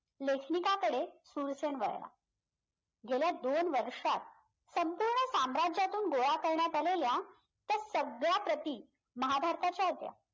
लेखनिकाकडे सुरसेन वळला गेल्या दोन वर्षात संपूर्ण साम्राज्यातून गोळा करण्यात आलेल्या त्या सगळ्या प्रति महाभारताच्या होत्या